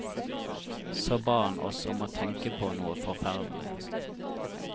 Så ba han oss om å tenke på noe forferdelig.